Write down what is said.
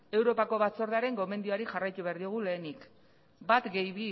europako batzordearen gomendioari jarraitu behar diogu lehenik bat gehi